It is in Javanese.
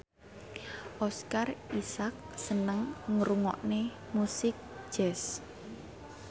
Oscar Isaac seneng ngrungokne musik jazz